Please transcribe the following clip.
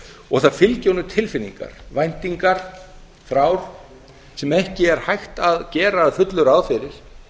og það fylgja honum tilfinningar væntingar þrár sem ekki er hægt að gera að fullu ráð fyrir